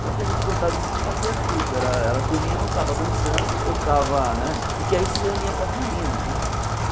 Então o que a gente gostava de se fazer era isso, a turminha ou estava dançando ou estava né... Porque aí se reunia com as meninas, né?